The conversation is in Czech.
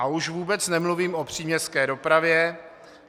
A už vůbec nemluvím o příměstské dopravě.